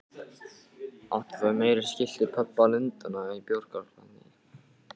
Áttu þær meira skylt við pöbba Lundúna en bjórkjallara í